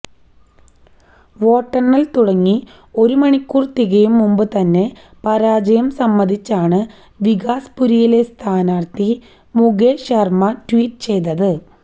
വോട്ടെണ്ണല് തുടങ്ങി ഒരു മണിക്കൂര് തികയും മുമ്പു തന്നെ പരാജയം സമ്മതിച്ചാണ് വികാസ്പുരിയിലെ സ്ഥാനാര്ഥി മുകേഷ് ശര്മയാണ് ട്വീറ്റ് ചെയ്തത്